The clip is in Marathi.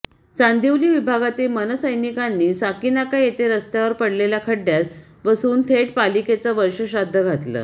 चांदिवली विभागातील मनसैनिकांनी साकीनाका येथे रस्त्यावर पडलेल्या खड्ड्यात बसून थेट पालिकेचं वर्षश्राद्ध घातलं